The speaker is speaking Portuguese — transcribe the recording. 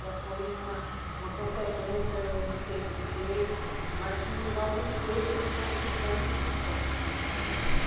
Já foi uma, uma consequência, não sei do quê, mas que alguns peixes foram ficando em extinção.